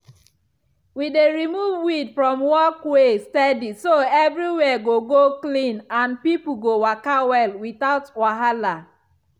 we dey remove weed from walkway steady so everywhere go go clean and people go waka well without wahala.